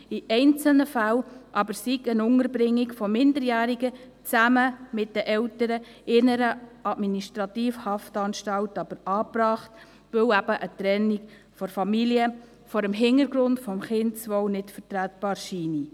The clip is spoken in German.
In einzelnen Fällen sei eine Unterbringung von Minderjährigen zusammen mit den Eltern in einer Administrativhaftanstalt aber angebracht, weil eben eine Trennung von der Familie vor dem Hintergrund des Kindeswohls nicht vertretbar scheine.